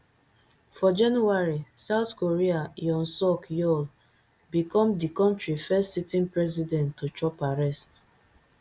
for january south korea yoon suk yeol become di kontri first sitting president to chop arrest